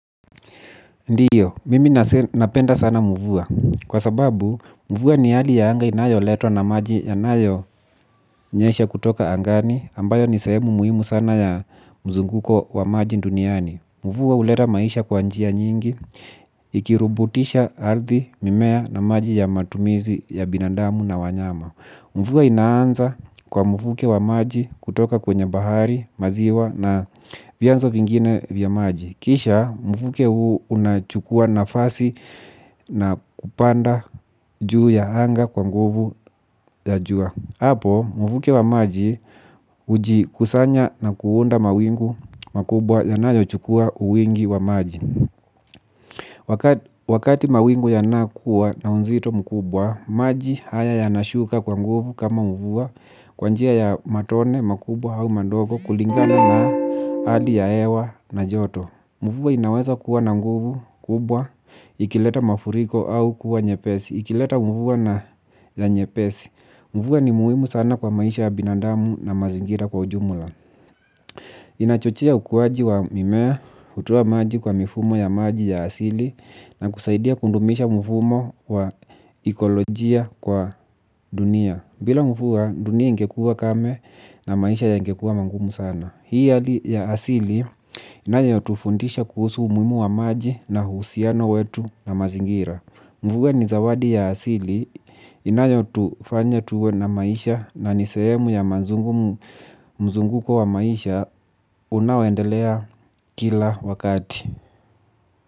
Ndio, mimi napenda sana mvua. Kwa sababu, mvua ni hali ya anga inayoletwa na maji yanayonyesha kutoka angani, ambayo ni sehemu muhimu sana ya mzunguko wa maji nduniani. Mvua ulera maisha kwa njia nyingi, ikirubutisha ardhi mimea na maji ya matumizi ya binadamu na wanyama. Mvua inaanza kwa mvuke wa maji kutoka kwenye bahari, maziwa na vianzo vingine vya maji. Kisha mvuke huu unachukua nafasi na kupanda juu ya anga kwa nguvu ya jua. Hapo mvuke wa maji hujikusanya na kuunda mawingu makubwa yanayochukua wingi wa maji. Wakati mawingu yanakuwa na unzito mkubwa, maji haya yanashuka kwa nguvu kama mvua kwa njia ya matone makubwa au mandogo kulingana na hali ya hewa na joto. Mvua inaweza kuwa na nguvu, kubwa, ikileta mafuriko au kuwa nyepesi. Ikileta mvua na nyepesi. Mvua ni muhimu sana kwa maisha ya binadamu na mazingira kwa ujumla. Inachochea ukuaji wa mimea, hutoa maji kwa mifumo ya maji ya asili, na kusaidia kundumisha mfumo wa ekolojia kwa dunia. Bila mvua, dunia ingekuwa kame na maisha yangekuwa mangumu sana. Hii ya asili inayotufundisha kuhusu umuhimu wa maji na uhusiano wetu na mazingira. Mvua ni zawadi ya asili inayotufanya tuwe na maisha na ni sehemu ya mazungu mzunguko wa maisha unaoendelea kila wakati.